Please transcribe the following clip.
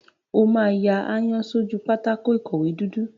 O máa ya aáyán sójú pátákó ìkọ̀wé dúdú.